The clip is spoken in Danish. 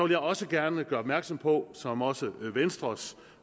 jeg også gerne gøre opmærksom på som også venstres